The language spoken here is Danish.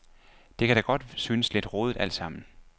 Det kan da godt synes lidt rodet altsammen.